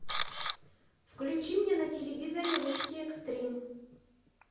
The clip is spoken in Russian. включи мне на телевизоре русский экстрим